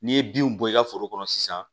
N'i ye binw bɔ i ka foro kɔnɔ sisan